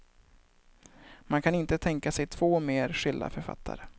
Man kan inte tänka sig två mer skilda författare.